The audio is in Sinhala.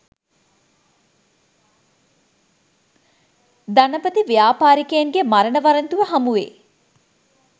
ධනපති ව්‍යාපාරිකයන්ගේ මරණ වරෙන්තුව හමුවේ